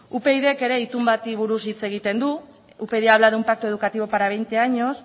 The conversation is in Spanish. upydk ere itun bati buruz hitz egiten du upyd habla de un pacto educativo para veinte años